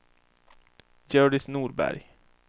Hjördis Norberg